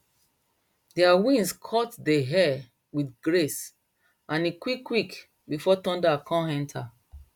their wings cut dey air with grace and e quick quick before thunder come enter